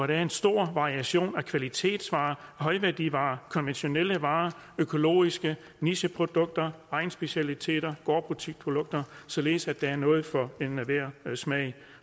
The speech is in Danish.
der er en stor variation af kvalitetsvarer højværdivarer konventionelle varer økologiske nicheprodukter egnsspecialiteter gårdbutikprodukter således at der er noget for enhver smag